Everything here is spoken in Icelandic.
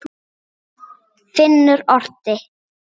Finnur orti.